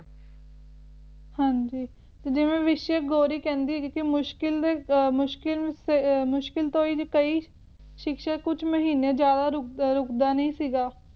ਹਾਂਜੀ ਜਿਵੇਂ ਵਿਸ਼ੈ ਗੌਰੀ ਕਹਿੰਦੀ ਹੈ ਕਿ ਮੁਸ਼ਕਿਲ ਮੁਸ਼ਕਿਲ ਸੇ ਮੁਸ਼ਕਿਲ ਤੋਂ ਹੀ ਜੇ ਕਈ ਸ਼ਿਕਸ਼ਕ ਕੁਝ ਮਹੀਨੇ ਜਿਆਦਾ ਰੁਕਦਾ ਨਹੀਂ ਸੀਗਾ